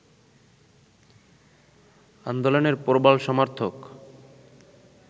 আন্দোলনের প্রবল সমর্থক